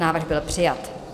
Návrh byl přijat.